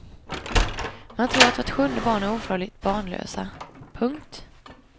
Man tror att vart sjunde par är ofrivilligt barnlösa. punkt